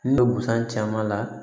Ne bɛ busan caman la